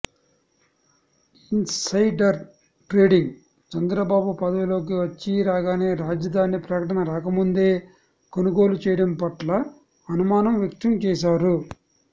insider trading Chandrababu పదవిలోకి వచ్చీరాగానే రాజధాని ప్రకటన రాకముందే కొనుగోలు చేయడం పట్ల అనుమానం వ్యక్తం చేశారు